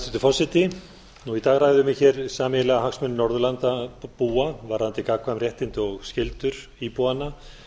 forseti í dag ræðum við hér sameiginlega hagsmuni norðurlandabúa varðandi gagnkvæm réttindi og skyldur íbúanna